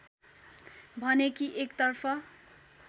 भने कि एकतर्फ